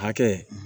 Hakɛ